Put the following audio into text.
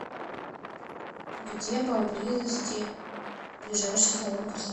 где поблизости ближайший салон красоты